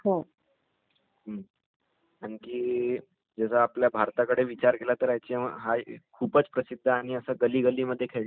आणखी................ जर आपल्या भारताकडे विचार केला तर हा एक खूपच प्रसिध्द आणि असा गलिगलिमध्ये खेळणारा गेम आहे.